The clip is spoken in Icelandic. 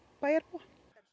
bæjarbúa